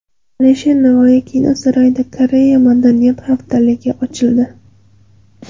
Alisher Navoiy kino saroyida Janubiy Koreya madaniyat haftaligi ochildi.